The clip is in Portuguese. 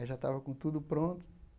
Aí já estava com tudo pronto.